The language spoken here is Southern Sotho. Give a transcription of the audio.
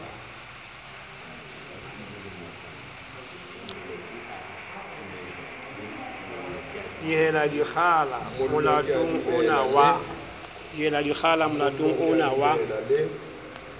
dihela dikgala molatong ono wa